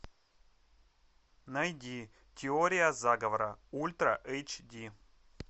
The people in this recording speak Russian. найди теория заговора ультра эйч ди